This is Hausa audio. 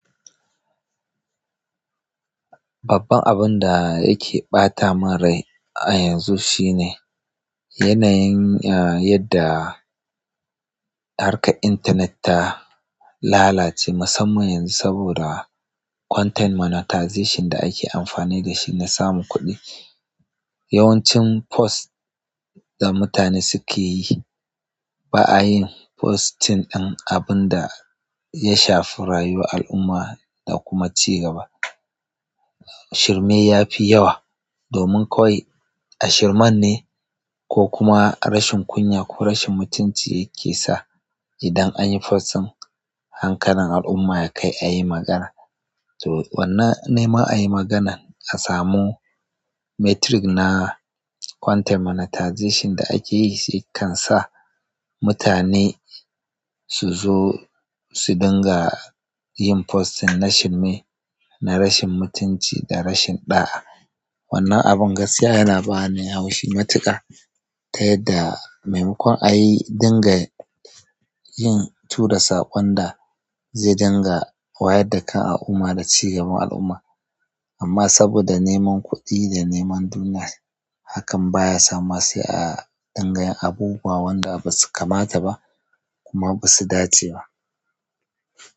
Babban abun da yake ɓata min rai a yanzu shine yanayin, ah, yadda harkar intanet ta lalace musamman yanzu saboda content monetization da ake amfani da shi na samun kuɗi. Yawancin post da mutane suke yi ba a yin posting ɗin abun da ya shafi rayuwar al'umma da kuma cigaba. Shirme yafi yawa domin kawai a shirman ne ko kuma rashin kunya ko rashin mutunci yake sa idan an yi post ɗin, hankalin al'umma ya kai a yi magana. To, wannan ne ma a yi maganan a samu metric na content monetization da ake yi, shi kan sa mutane su zo su dinga yin posting na shirme, na rashin mutunci da rashin da'a. Wannan abin gaskiya yana bani haushi matuƙa ta yadda mai makon a yi dinga yin tura saƙon da zai dinga wayar da kan al'umma da cigaban al'umma. Amma saboda neman kuɗi da neman duniya, hakan baya sa masai a dinga yin abu ba wanda ba su kamata ba kuma ba su dace ba.